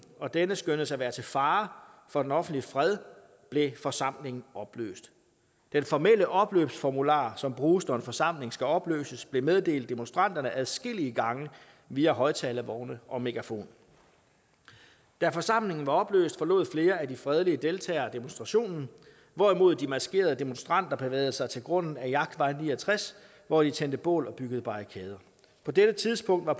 og denne skønnedes at være til fare for den offentlige fred blev forsamlingen opløst den formelle opløbsformular som bruges når en forsamling skal opløses blev meddelt demonstranterne adskillige gange via højtalervogne og megafoner da forsamlingen var opløst forlod flere af de fredelige deltagere demonstrationen hvorimod de maskerede demonstranter bevægede sig til grunden ved jagtvej ni og tres hvor de tændte bål og byggede barrikader på dette tidspunkt var